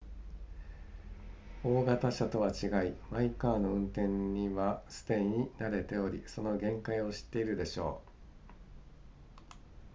大型車とは違いマイカーの運転にはすでに慣れておりその限界を知っているでしょう